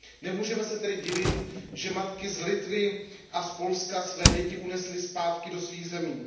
Nemůžeme se tedy divit, že matky z Litvy a z Polska své děti unesly zpátky do svých zemí.